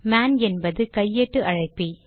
man என்பது கையேட்டு அழைப்பி